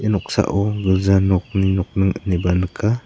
noksao gilja nokni nokning ineba nika.